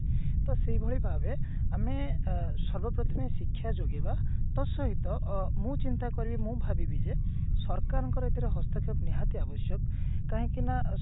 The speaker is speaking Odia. ତ ସେଇଭଳି ଭାବେ ଆମେ ଅ ସର୍ବପ୍ରଥମେ ଶିକ୍ଷା ଯୋଗେଇବା ତା ସହିତ ମୁଁ ଚିନ୍ତା କରିବି ମୁଁ ଭାବିବି ଯେ ସରକାରଙ୍କର ଏଥିରେ ହସ୍ତକ୍ଷେପ ନିହାତି ଆବଶ୍ୟକ କାହିଁକି ନା